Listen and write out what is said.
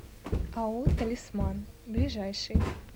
ао талисман ближайший